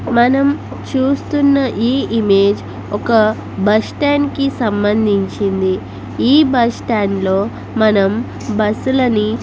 మనం చూస్తూన్న ఈ ఇమేజ్ ఒక బస్టాండ్ కి సంమందించింది ఈ బస్టాండ్ లో మనం బస్సు లని --